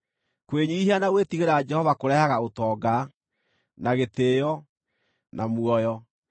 Kwĩnyiihia na gwĩtigĩra Jehova kũrehaga ũtonga, na gĩtĩĩo, na muoyo.